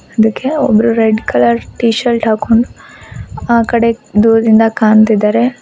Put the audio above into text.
ಅದಕ್ಕೆ ಒಬ್ಬರು red colour T shirt ಹಾಕೊಂಡು ಆ ಕಡೆ ದೂರದಿಂದ ಕಾಣ್ತಿದ್ದಾರೆ.